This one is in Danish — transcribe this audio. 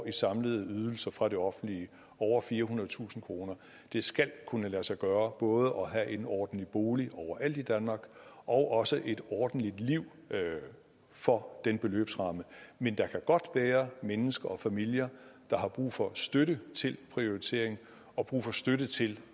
i samlede ydelser fra det offentlige over firehundredetusind kroner det skal kunne lade sig gøre både at have en ordentlig bolig overalt i danmark og også et ordentligt liv for den beløbsramme men der kan godt være mennesker og familier der har brug for støtte til prioritering og brug for støtte til